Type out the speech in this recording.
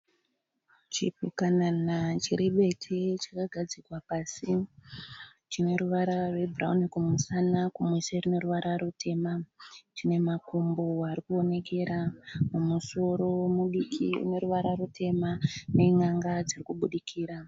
Chipukanana chiri bete chakagadzikwa pasi. Chine ruvara rwebhurawuni kumusana kumeso chine ruvara rutema. Chine makumbo ari kuonekera. Musoro mudiki une ruvara rutema nenyanga dziri kubudikira.